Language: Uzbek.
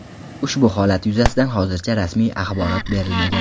Ushbu holat yuzasidan hozircha rasmiy axborot berilmagan.